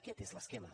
aquest és l’esquema